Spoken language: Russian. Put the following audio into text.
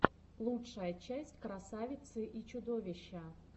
лучшая часть красавицы и чудовища